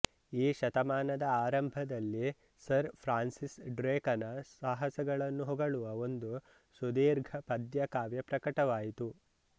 ಈ ಶತಮಾನದ ಆರಂಭದಲ್ಲಿ ಸರ್ ಫ್ರಾನ್ಸಿಸ್ ಡ್ರೇಕನ ಸಾಹಸಗಳನ್ನು ಹೊಗಳುವ ಒಂದು ಸುದೀರ್ಘ ಪದ್ಯಕಾವ್ಯ ಪ್ರಕಟವಾಯಿತು